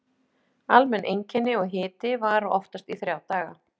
Almenn einkenni og hiti vara oftast í þrjá daga.